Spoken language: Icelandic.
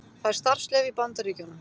Fær starfsleyfi í Bandaríkjunum